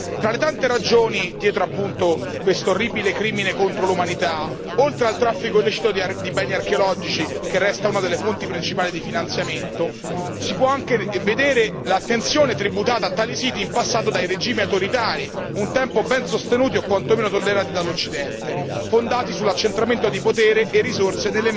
Fra le tante ragioni dietro questo orribile crimine contro l'umanità, oltre al traffico illecito di beni archeologici che resta una delle fonti principali di finanziamento, si può anche vedere l'attenzione tributata a tali siti in passato dai regimi autoritari un tempo ben sostenuti o quantomeno tollerati dall'Occidente fondati sull'accentramento di potere e risorse